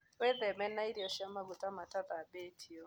Wĩtheme na irio cia magũta matathambĩtĩo